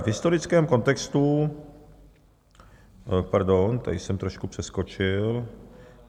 V historickém kontextu - pardon, tady jsem trošku přeskočil.